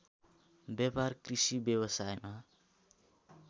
व्यापार कृषि व्यवसायमा